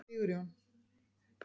Sigurjón